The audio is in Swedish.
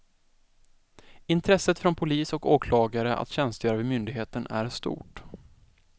Intresset från polis och åklagare att tjänstgöra vid myndigheten är stort.